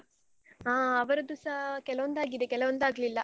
ಹಾ ಅವರದ್ದುಸಾ ಕೆಲವೊಂದಾಗಿದೆ ಕೆಲವೊಂದು ಆಗ್ಲಿಲ್ಲ.